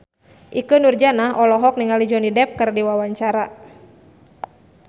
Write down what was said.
Ikke Nurjanah olohok ningali Johnny Depp keur diwawancara